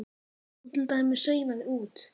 Hún til dæmis saumaði út.